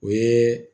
O ye